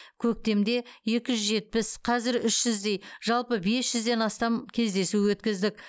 көктемде екі жүз жетпіс қазір үш жүздей жалпы бес жүзден астам кездесу өткіздік